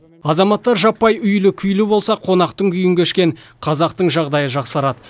азаматтар жаппай үйлі күйлі болса қонақтың күйін кешкен қазақтың жағдайы жақсарады